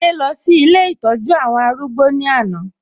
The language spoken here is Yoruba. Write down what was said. Adé lọ sí ilé ìtọ́jú àwọn arúgbó ní àná